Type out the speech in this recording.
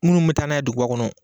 Munnu mi taa n'a ye duguba kɔnɔ